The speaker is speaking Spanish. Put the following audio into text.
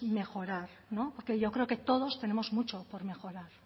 mejorar no porque yo creo que todos tenemos mucho por mejorar